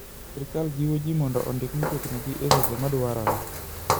Sirkal jiwo ji mondo ondik mtokni gi e seche madwarore.